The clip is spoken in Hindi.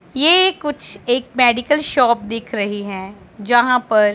ये कुछ एक मेडिकल शॉप दिख रही है जहाँ पर--